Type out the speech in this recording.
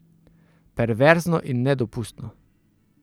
Perverzno in nedopustno.